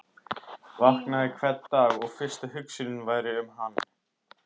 Vaknaði hvern dag og fyrsta hugsunin væri um hann.